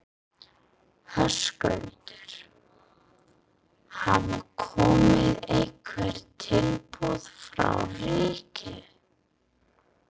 Höskuldur: Hafa komið einhver tilboð frá ríkinu?